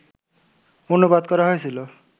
অনুবাদ করা হয়েছিল